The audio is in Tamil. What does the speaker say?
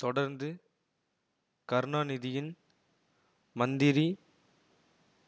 தொடர்ந்து கருணாநிதியின் மந்திரி